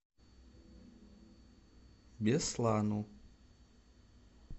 беслану